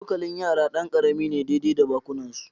Cokalin yara ɗan karami ne daidai da bakunansu